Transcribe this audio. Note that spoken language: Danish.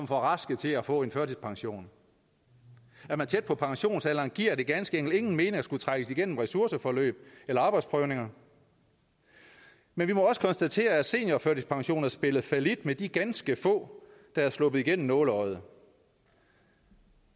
for raske til at få en førtidspension er man tæt på pensionsalderen giver det ganske enkelt ingen mening at skulle trækkes igennem ressourceforløb eller arbejdsprøvninger men vi må også konstatere at seniorførtidspensionen har spillet fallit med de ganske få der er sluppet igennem nåleøjet